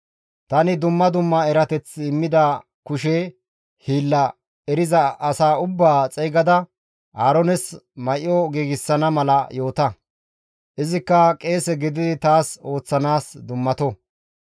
Tani dumma dumma erateth immida kushe hiilla eriza as ubbaa xeygada Aaroones may7o giigsana mala yoota; izikka qeese gididi taas ooththanaas dummato.